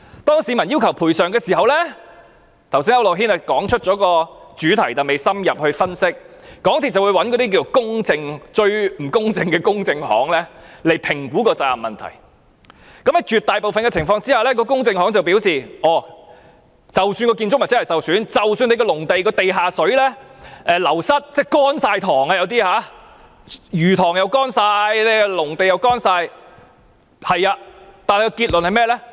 當市民要求賠償時——剛才區諾軒議員也點出這問題，但未有深入分析——港鐵公司便會找一些最不公正的公證行來評估責任問題，而在絕大部分的情況下，公證行都會說即使建築物真的受損，即使農地的地下水流失，導致魚塘全部乾涸、農地也全部乾涸，即使這些都是事實，但結論是甚麼？